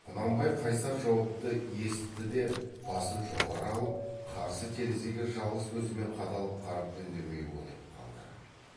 құнанбай қайсар жауапты есітті де басын жоғары алып қарсы терезеге жалғыз көзімен қадалып қарап үндемей отырып қалды